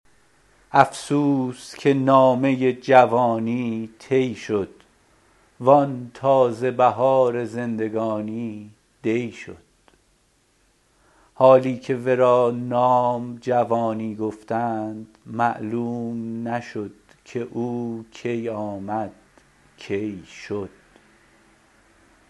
افسوس که نامه جوانی طی شد وان تازه بهار زندگانی دی شد حالی که ورا نام جوانی گفتند معلوم نشد که او کی آمد کی شد